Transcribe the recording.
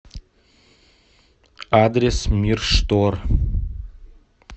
адрес мир штор